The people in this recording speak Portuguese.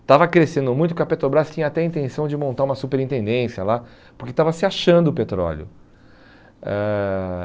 Estava crescendo muito, porque a Petrobras tinha até a intenção de montar uma superintendência lá, porque estava se achando o petróleo. Ãh